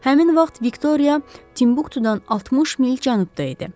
Həmin vaxt Viktoriya Tinbuktudan 60 mil cənubda idi.